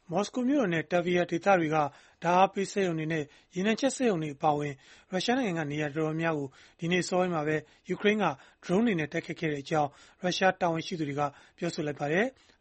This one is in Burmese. မော်စကိုမြို့တော်နဲ့ Tver ဒေသတွေက ဓာတ်အားပေးစက်ရုံတွေနဲ့ ရေနံချက်စက်ရုံတွေ အပါအဝင် ရုရှားနိုင်ငံက နေရာအများအပြားကို ဒီကနေ့ အစောပိုင်းမှာပဲ ယူကရိန်းက ဒရုန်းတွေနဲ့ တိုက်ခိုက်ခဲ့ကြောင်း ရုရှားတာဝန်ရှိသူတွေက ပြောလိုက်ပါတယ်။